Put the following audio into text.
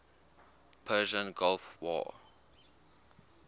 persian gulf war